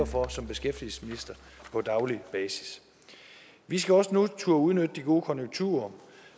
for som beskæftigelsesminister på daglig basis vi skal også nu turde udnytte de gode konjunkturer